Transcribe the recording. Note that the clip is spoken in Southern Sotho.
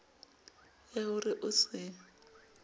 ya ho re o se